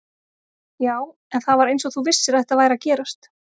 Já, en það var eins og þú vissir að þetta væri að gerast